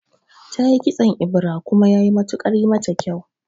Tayi kitson ebira kuma yayi matukar mata kyau